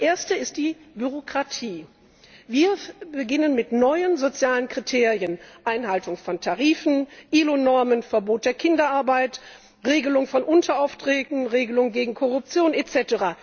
Das erste ist die Bürokratie. Wir beginnen mit neuen sozialen Kriterien Einhaltung von Tarifen, IAO Normen, Verbot der Kinderarbeit, Regelung von Unteraufträgen, Regelung gegen Korruption etc.